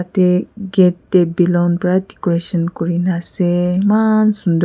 jatte gate te balloon para decoration kori na ase eman sunder.